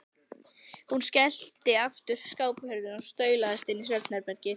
Hún skellti aftur skáphurðinni og staulaðist inn í svefn- herbergið.